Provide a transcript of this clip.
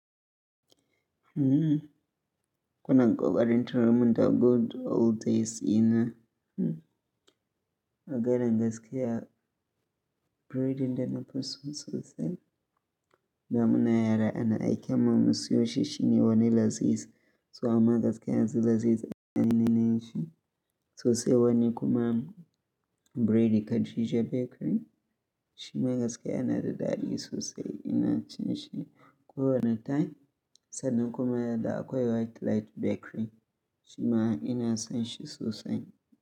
Mmm. Kuna kokarin tinarmin da good old days ina. Agarin gaskiya breadin da nafiso sosai. Damuna yara ana aiken mu mu siyo shi shine wani laziz. So amma gaskiya yanzu laziz anene nenshi. So sai wani kuma breadi Khadija bakery. Shima gaskiya yana da dadi sosai ina chinshi. Kowane time sannan kuma da akwai white light bakery shima ina san shi sosai.